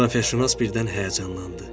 Coğrafiyaşünas birdən həyəcanlandı.